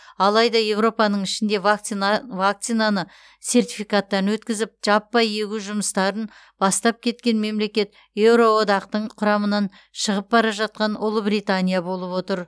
алайда еуропаның ішінде вакцина вакцинаны сертификаттан өткізіп жаппай егу жұмыстарын бастап кеткен мемлекет еуроодақтың құрамынан шығып бара жатқан ұлыбритания болып отыр